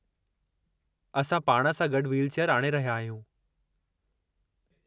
असां पाण सां गॾु व्हीलचेयरु आणे रहिया आहियूं।